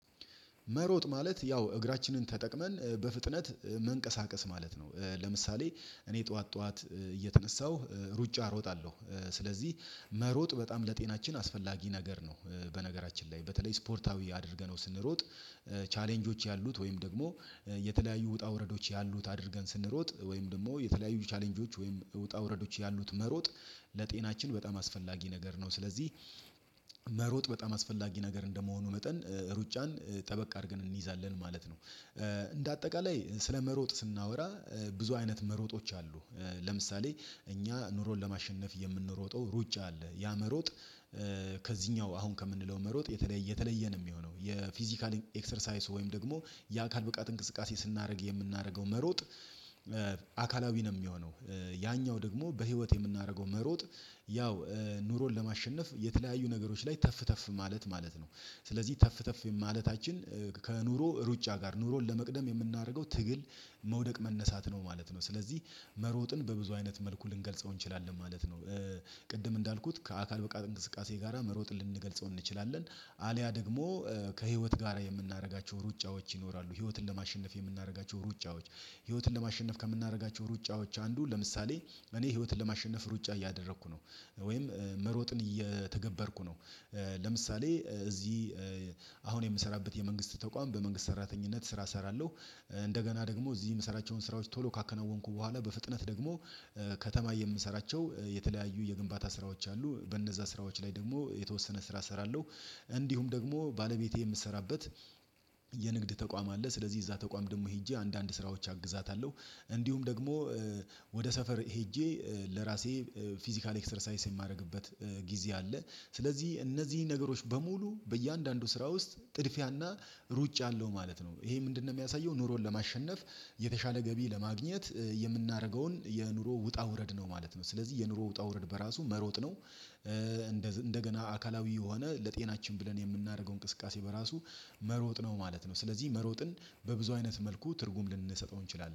መሮጥ ማለት ያው እግራችንን ተጠቅመን በፍጥነት መንቀሳቀስ ማለት ነው። ለምሳሌ እኔ ጠዋት ጠዋት እየተነሳሁ ሩጫ እሮጣለሁ ስለዚህ መሮጥ በጣም ለጤናችን አስፈላጊ ነገር ነው። በነገራችን ላይ በተለይ ስፖርታዊ አድርገነው ስንሮጥ ቻሌንጆች ያሉት ወይም ደግሞ የተለያዩ ውጣ ውረዶች ያሉት አድርገን ስንሮጥ ወይም ደግሞ የተለያዩ ቻሌንጆች ወይም እውጣ ውረዶች ያሉት መሮጥ። ለጤናችን በጣም አስፈላጊ ነገር ነው። ስለዚህ መሮጥ በጣም አስፈላጊ ነገር እንደመሆኑ መጠን ሩጫን ጠበቅ አድርገን እንይዛለን ማለት ነው። እንደ አጠቃላይ ስለመሮጥ ስናወራ ብዙ አይነት መሮጦች አሉ። ለምሳሌ እኛ ኑሮን ለማሸነፍ የምንሮጠው ሩጫ አለ። ያመሮጥ ከዚህኛው አሁን ከምንለው መሮጥ የተለየ የተለየ ነው የሚሆነው። የፊዚካሊ ኤክሰርሳይዝ ወይም ደግሞ የአካል ብቃት እንቅስቃሴ ስናደርግ የምናደርገው መሮጥ አካላዊ ነው የሚሆነው። ያኛው ደግሞ በህይወት የምናደርገው መሮጥ ያው ኑሮን ለማሸነፍ የተለያዩ ነገሮች ላይ ተፍ ተፍ ማለት ማለት ነው። ስለዚህ ተፍ ተፍ ማለታችን ከኑሮ ሩጫ ጋር ኑሮን ለመቅደም የምናደርገው ትግል። መውደቅ መነሳት ነው ነው ስለዚህ መሮጥን በብዙ አይነት መልኩ ልንገልጸው እንችላለን ማለት ነው። ቅድም እንዳልኩት ከአካል ብቃት እንቅስቃሴ ጋራ መሮጥ ልንገልጸው እንችላለን። አልያ ደግሞ ከህይወት ጋር የምናደርጋቸው ሩጫዎች ይኖራሉ ህይወትን ለማሸነፍ የምናደርጋቸው ሩጫዎች። ህይወትን ለማሸነፍ ከምናደርጋቸው ሩጫዎች አንዱ ለምሳሌ እኔ ህይወትን ለማሸነፍ ሩጫ እያደረኩ ነው። ወይም መሮጥን እየተገበርኩ ነው። ለምሳሌ እዚህ አሁን የምሰራበት የመንግስት ተቋም በመንግስት ሰራተኝነት ስራ እሰራለሁ። እንደገና ደግሞ እዚህ የምሰራቸውን ስራዎች ቶሎ ካከናወንኩ በኋላ በፍጥነት ደግሞ ከተማ የምሰራቸው የተለያዩ የግንባታ ስራዎች አሉ በእነዛ ስራዎች ላይ ደግሞ የተወሰነ ስራ እሰራለሁ። እንዲሁም ደግሞ ባለቤቴ የምትሰራበት የንግድ ተቋም አለ። ስለዚህ እዛ ተቋም ደግሞ ሄጄ አንዳንድ ስራዎች አግዛታለሁ። እንዲሁም ደግሞ ወደ ሰፈር ሄጄ ለራሴ ፊዚካል ኤክሰርሳይስ የማደርግበት ጊዜ አለ። ስለዚህ እነዚህ ነገሮች በሙሉ በእያንዳንዱ ስራ ውስጥ ጥድፊያና ሩጫ አለው ማለት ነው። ይሄ ምንድነው የሚያሳየው? ኑሮን ለማሸነፍ የተሻለ ገቢ ለማግኘት የምናደርገውን የኑሮ ውጣ ውረድ ነው ማለት ነው። ስለዚህ የኑሮ ውጣ ውረድ በራሱ መሮጥ ነው። እንደገና አካላዊ የሆነ ለጤናችን ብለን የምናደርገው እንቅስቃሴ በራሱ መሮጥ ነው ማለት ነው። ስለዚህ መሮጥን በብዙ አይነት መልኩ ትርጉም ልንሰጠው እንችላለን